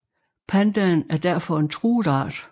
Pandaen er derfor en truet art